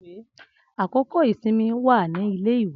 Akoko isinmi wa ni ile-iwe.